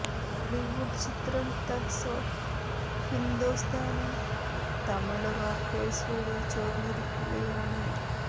ബോളിവുഡ് ചിത്രം Thugs of ഹിന്ദോസ്ഥാനും Tamil Rockers വഴി ചോര്ന്നിരിക്കുകയാണ്